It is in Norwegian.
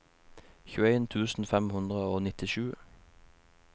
tjueen tusen fem hundre og nittisju